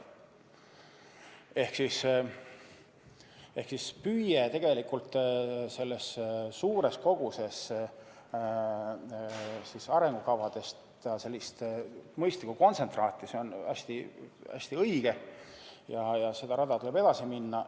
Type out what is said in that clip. Ehk siis püüe saada sellest suurest kogusest arengukavadest sellist mõistlikku kontsentraati, see on hästi õige ja seda rada tuleb edasi minna.